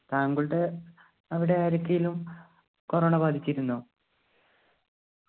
താങ്കളുടെ അവിടെ ആർക്കേലും corona ബാധിച്ചിരുന്നോ